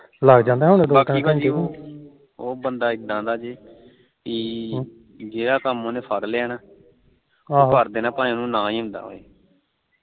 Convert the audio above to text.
ਬਾਕੀ ਉਹ ਬੰਦਾ ਇਦਾ ਦਾ ਜੇ ਪੀ ਜਿਹੜਾ ਕੰਮ ਉਹਨੇ ਫੜ ਲਿਆ ਨਾ ਉਹ ਕਰ ਦੇਣਾ ਚਾਹੇ ਉਹਨੂੰ ਨਾ ਹੀ ਆਂਦਾ ਹੋਵੇ